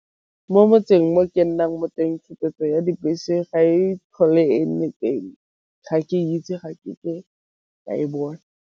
Mo motseng o ke nnang mo teng tshupetso ya dibese ga e tlhole e le teng, ga ke itse ga ke ke ka e bone.